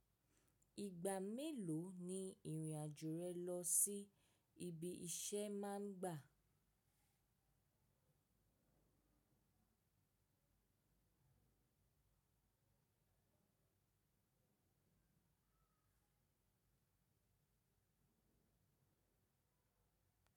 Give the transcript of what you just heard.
Ìgbà mélòó ni ìrìn àjò rẹ lọ sí ibi iṣẹ́ máa ń gbà?